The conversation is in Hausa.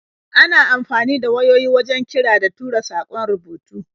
Ana amfani da wayoyi wajen kira da tura saƙon rubutu.